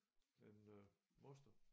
En øh moster